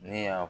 Ne y'a